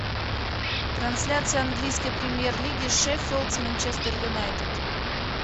трансляция английской премьер лиги шеффилд с манчестер юнайтед